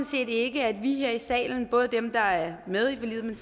set ikke at vi her i salen både dem der er med i forliget men